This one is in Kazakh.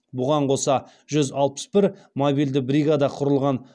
бұған қоса жүз алпыс бір мобильді бригада құрылған